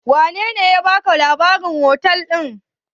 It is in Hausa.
Wanene ya baka labarin hotel ɗin?